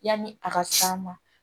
Yanni a ka s'a ma